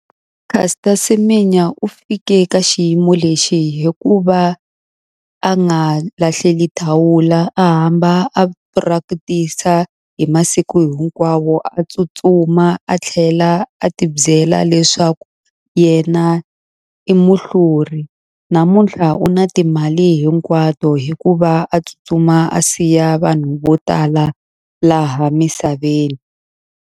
Caster Semenya u fike ka xiyimo lexi hi ku va a nga lahleli thawula, a hamba a practice-a hi masiku hinkwawo. A tsutsuma a tlhela a ti byela leswaku yena i muhluri. Namunthla u na a timali hinkwato hi ku va a tsutsuma a siya vanhu vo tala laha misaveni.